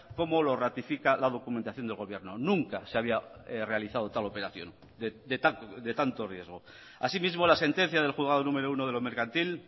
como lo ratifica la documentación del gobierno nunca se había realizado tal operación de tanto riesgo asimismo la sentencia del juzgado número uno de lo mercantil